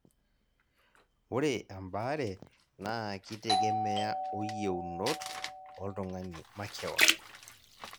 ore ebaare naa kitegemea o yienot oltung'ani makeon.